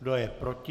Kdo je proti?